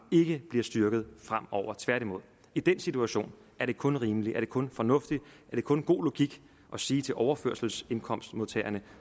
ikke bliver styrket tværtimod i den situation er det kun rimeligt kun fornuftigt og kun god logik at sige til overførselsindkomstmodtagerne